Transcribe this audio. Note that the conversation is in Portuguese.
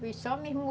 Foi